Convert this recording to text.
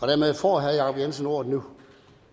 dermed får herre jacob jensen ordet nu